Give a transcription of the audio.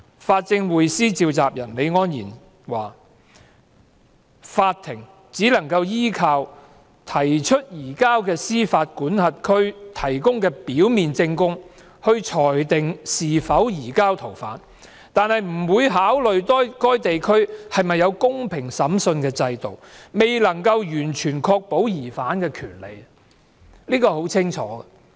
法政匯思召集人李安然說，法庭只能夠依靠提出移交的司法管轄區提供的表面證供裁定是否移交逃犯，而不會考慮該地區是否有公平審訊的制度，未能夠完全確保疑犯的權利，這是很清楚的。